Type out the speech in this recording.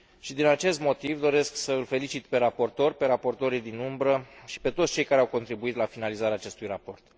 Din acest motiv doresc să l felicit pe raportor, pe raportorul din umbră și pe toți cei care au contribuit la finalizarea acestui raport.